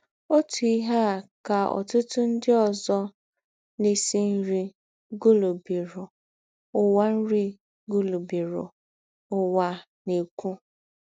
Ǒtú ìhè à kà ọ̀tụ̀tụ̀ ńdị òzò na - èsí nri gụ̀lù̄bìrù Ǔwà nri gụ̀lù̄bìrù Ǔwà na - èkwú.